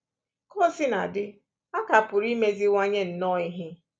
Ka o sina dị, a ka pụrụ imeziwanye nnọọ ihe